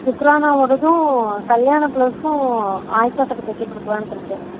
சுக்கிறானா ஓடதும் கல்யாண blouse உம் ஆய்ஷா கிட்ட தெக்க குடுக்கலாம்னு இருக்கேன்